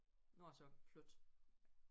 Nu er jeg så flyttet